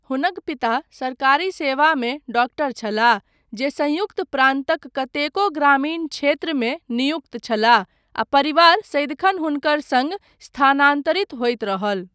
हुनक पिता सरकारी सेवामे डॉक्टर छलाह, जे संयुक्त प्रान्तक कतेको ग्रामीण क्षेत्रमे नियुक्त छलाह, आ परिवार सदिखन हुनकर सङ्ग स्थानान्तरित होइत रहल।